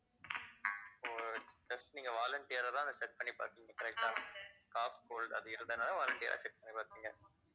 ஓ test நீங்க volunteer ஆ தான் அத check பண்ணி பாத்திங்க correct ஆ cold அது இருந்ததுனால volunteer ஆ check பண்ணி பாத்தீங்க